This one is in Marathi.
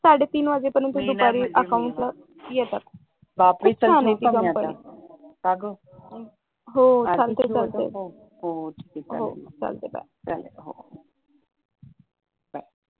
साडेतीन वाजे पर्यंत धूपअरी अकाउंटला येतात खूप छान आहे . का गं हो चालतंय चालतंय हो ठीक आहे चालेल हो बाय